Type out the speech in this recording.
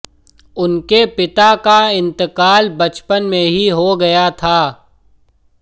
उनके पिता का इंतकाल बचपन में ही हो गया था